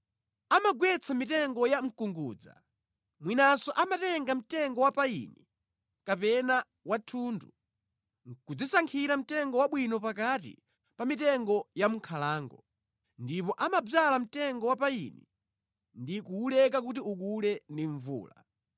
Amagwetsa mitengo ya mkungudza, mwinanso amatenga mtengo wa payini kapena wa thundu nʼkudzisankhira mtengo wabwino pakati pa mitengo ya mʼnkhalango, ndipo amadzala mtengo wa payini ndi kuwuleka kuti ukule ndi mvula.